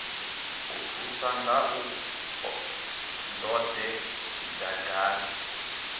a ṱusa ngaḽo ndode tshidangani